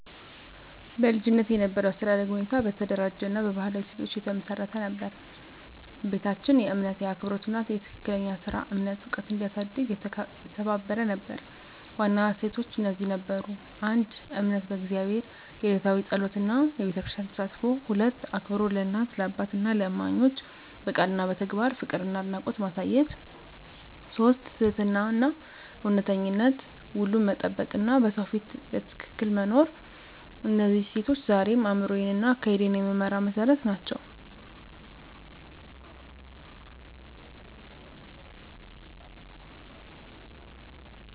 በልጅነቴ የነበረው የአስተዳደግ ሁኔታ በተደራጀ እና በባህላዊ እሴቶች የተመሰረተ ነበር። ቤታችን የእምነት፣ የአክብሮት እና የትክክለኛ ሥራ እምነት ዕውቀት እንዲያሳድግ የተባበረ ነበር። ዋና እሴቶች እነዚህ ነበሩ: 1. እምነት በእግዚአብሔር፣ የዕለታዊ ጸሎት እና በቤተክርስቲያን ተሳትፎ። 2. አክብሮት ለእናት፣ ለአባትና ለእማኞች፣ በቃል እና በተግባር ፍቅርና አድናቆት ማሳየት። 3. ትህትናና እውነተኝነት፣ ውሉን መጠበቅ እና በሰው ፊት ትክክል መኖር። እነዚህ እሴቶች ዛሬም አእምሮዬን እና አካሄዴን የሚመራ መሠረት ናቸው።